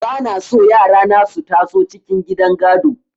Ba na so yara na su taso cikin gidan gado.